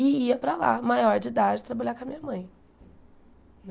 e ia para lá, maior de idade, trabalhar com a minha mãe.